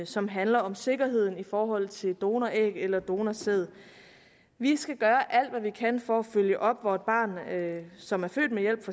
som handler om sikkerheden i forhold til donoræg eller donorsæd vi skal gøre alt hvad vi kan for at følge op hvor et barn som er født ved hjælp